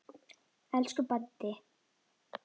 Elsku Baddi.